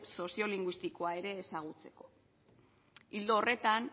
soziolinguistikoa ere ezagutzeko ildo horretan